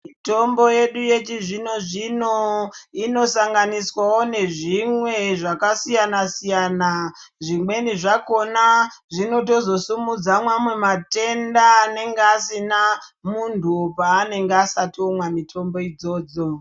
Mitombo yedu yechizvinozvinno inosanganiswawo nezvimwe zvakasiyanasiyana zvimweni zvakona zvinotozosimudza mamwe matenda anenge asina munhu paanenge asati omwa mitombo idzodzo.